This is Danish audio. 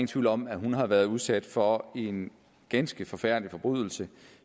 tvivl om at hun har været udsat for en ganske forfærdelig forbrydelse